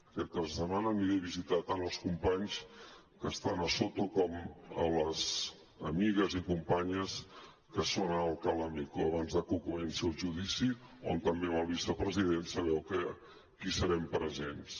aquest cap de setmana aniré a visitar tant als companys que estan a soto com a les amigues i companyes que són a alcalá meco abans que comenci el judici on també amb el vicepresident sabeu que hi serem presents